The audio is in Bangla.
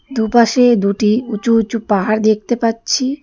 দু'পাশে দুটি উঁচু উঁচু পাহাড় দেখতে পাচ্ছি।